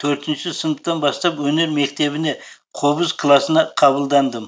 төртінші сыныптан бастап өнер мектебіне қобыз классына қабылдандым